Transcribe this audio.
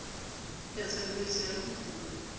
ya tshbetso ya ho hulwa